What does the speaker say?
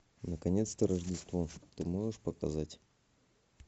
наконец то рождество ты можешь показать